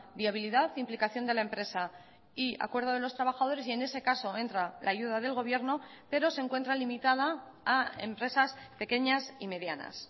viabilidad implicación de la empresa y acuerdo de los trabajadores y en ese caso entra la ayuda del gobierno pero se encuentra limitada a empresas pequeñas y medianas